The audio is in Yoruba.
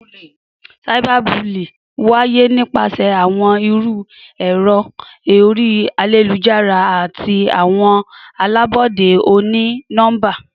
Cyberbullying waye nipasẹ awọn iru ẹrọ ori ayelujara ati awọn alabọde oni-nọmba.